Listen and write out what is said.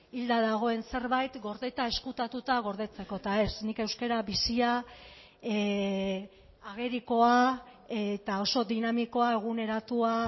hilda dagoen zerbait gordeta ezkutatuta gordetzeko eta ez nik euskara bizia agerikoa eta oso dinamikoa eguneratua